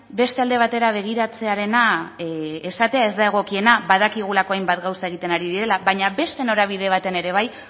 beste alde batera begiratzearena esatea ez da egokiena badakigulako hainbat gauza egiten ari direla baina beste norabide batean ere bai